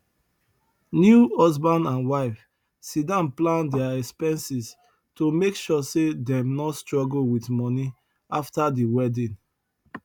new husband and wife sidon plan dia expenses to make sure say dem no struggle with money after the wedding